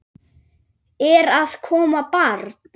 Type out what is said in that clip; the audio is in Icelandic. Er að koma barn?